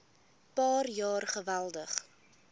paar jaar geweldig